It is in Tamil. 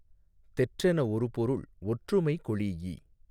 தெற்றென ஒரு பொருள் ஒற்றுமை கொளீஇ